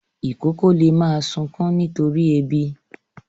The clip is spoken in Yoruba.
Ìkókó lè máa sunkún nítorí ebi.